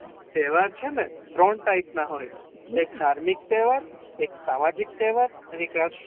તહેવાર છે ને એ ત્રણ ટાયપ ના હોય એક ઘામિૅક તહેવાર, એક સામાજિક તહેવાર અને રાષ્ટિ્ય તહેવાર